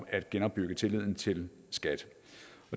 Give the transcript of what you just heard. at genopbygge tilliden til skat